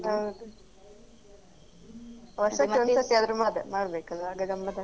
ಹೌದು ವರ್ಷಕ್ಕೆ ಒಂದ್ ಸರಿ ಆದ್ರು ಮಾಡ್ಬೇಕಲ್ಲ ಆಗ ಗಮತ್ತ್ ಆಗ್ತದೆ.